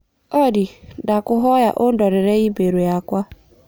Olly, ndakũhoya ũndorere i-mīrū yakwa